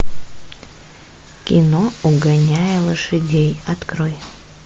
кино угоняя лошадей открой